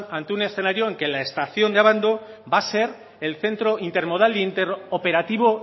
ante un escenario en que la estación de abando va a ser el centro intermodal e interoperativo